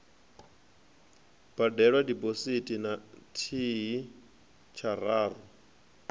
badelwa diphosithi na thihi tshararu